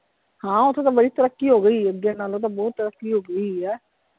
ਹਾਂ ਓਥੇ ਤਾਂ ਬੜੀ ਤਰੱਕੀ ਹੋਗੀ ਹੈ ਅੱਗੇ ਨਾਲੋਂ ਤਾਂ ਬਹੁਤ ਤੱਰਕੀ ਹੋਗੀ ਹੋਈ ਹੈ।